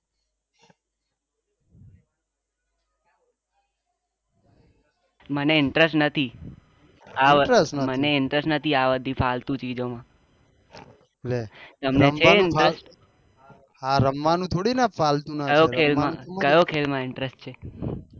મને interest નથી મને interest જ નથી ફાલતુ ચીજોમાં ok ok કયા ખેલ માં interest છે